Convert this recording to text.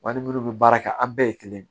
Wa ni minnu bɛ baara kɛ an bɛɛ ye kelen ye